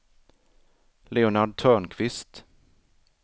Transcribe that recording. Leonard Törnqvist